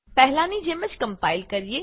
પહેલાની જેમ કમ્પાઈલ કરીએ